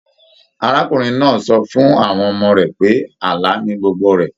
Arákùnrin náà sọ fún àwọn ọmọ rẹ pé àlà ní gbogbo rẹ.